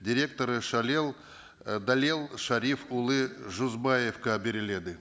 директоры ы дәлел шәріпұлы жүзбаевқа беріледі